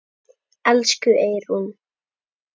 Elsku Eyrún.